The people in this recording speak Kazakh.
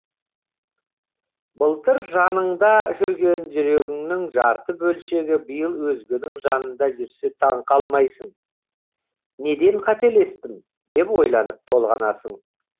былтыр жаныңда жүрген жүрегіңнің жарты бөлшегі биыл өзгенің жанында жүрсе таңқалмайсың неден қателестім деп ойланып толғанасың